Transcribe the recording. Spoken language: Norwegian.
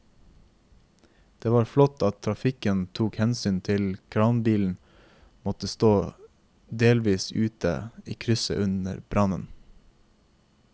Det var flott at trafikken tok hensyn til at kranbilen måtte stå delvis ute i krysset under brannen.